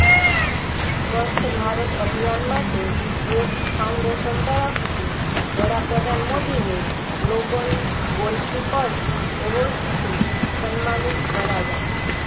સ્વચ્છ ભારત અભિયાન માટે ગેટ્સ ફાઉન્ડેશન તરફથી વડાપ્રધાન મોદીને ગ્લોબલ ગોલકીપર્સ એવોર્ડથી સન્માનિત કરાયા